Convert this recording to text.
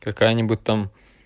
какая-нибудь там